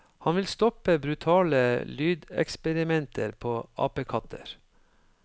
Han vil stoppe brutale lydeksperimenter på apekatter.